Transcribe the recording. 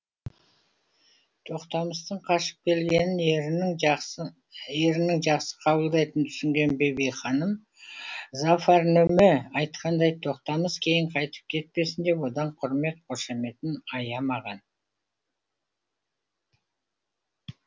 тоқтамыстың қашып келгенін ерінің жақсы ерінің жақсы қабылдайтынын түсінген бибі ханым зафар нөме айтқандай тоқтамыс кейін қайтып кетпесін деп одан құрмет қошаметін аямаған